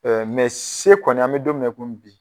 C kɔni an bɛ don min na i komi bi